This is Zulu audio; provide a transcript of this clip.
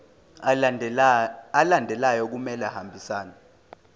alandelayo kumele ahambisane